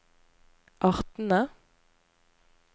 artene